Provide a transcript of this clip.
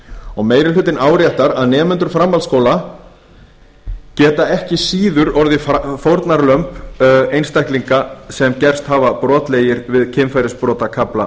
og meiri hlutinn áréttar að nemendur framhaldsskóla geti ekki síður orðið fórnarlömb einstaklinga sem gerst hafa brotlegir við kynferðisbrotakafla